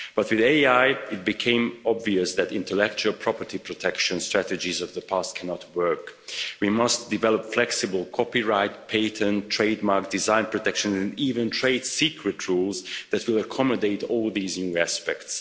But with AI it became obvious that intellectual property protection strategies of the past cannot work. We must develop flexible copyright, patent, trademark design protection and even trade secret rules that will accommodate all these new aspects.